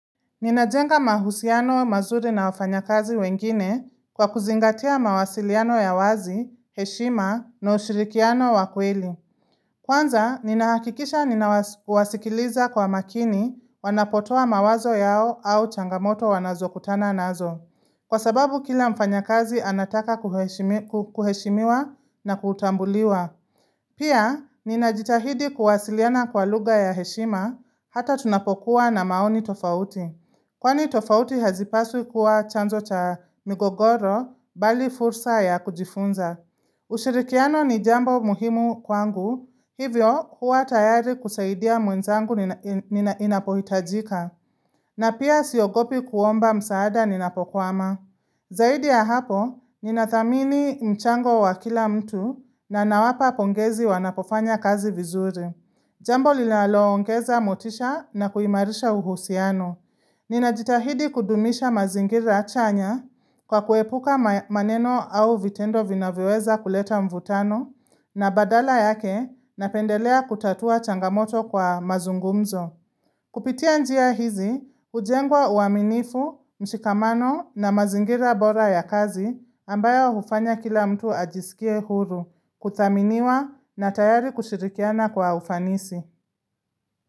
Ninajenga mahusiano mazuri na ufanya kazi wengine kwa kuzingatia mawasiliano ya wazi, heshima na ushirikiano wakweli. Kwanza, ninaakikisha ninawasikiliza kwa makini wanapotoa mawazo yao au changamoto wanazo kutana naazo. Kwa sababu kila mfanya kazi anataka kuheshimiwa na kutambuliwa. Pia, ninajitahidi kuwasiliana kwa luga ya heshima hata tunapokuwa na maoni tofauti. Kwani tofauti hazipaswi kuwa chanzo cha migogoro bali fursa ya kujifunza. Ushirikiano ni jambo muhimu kwangu, hivyo kuwa tayari kusaidia mwenzangu ninapohitajika. Na pia siogopi kuomba msaada ninapokwama. Zaidia ya hapo, ninathamini mchango wa kila mtu na nawapa pongezi wanapofanya kazi vizuri. Jambo linaloongeza motisha na kuimarisha uhusiano. Nina jitahidi kudumisha mazingira chanya kwa kuepuka maneno au vitendo vinavyoweza kuleta mvutano na badala yake na pendelea kutatua changamoto kwa mazungumzo. Kupitia njia hizi, ujengwa uaminifu, mshikamano na mazingira bora ya kazi ambayo hufanya kila mtu ajisikie huru, kuthaminiwa na tayari kushirikiana kwa ufanisi.